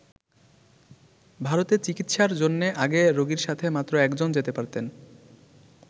ভারতে চিকিৎসার জন্যে আগে রোগীর সাথে মাত্র একজন যেতে পারতেন।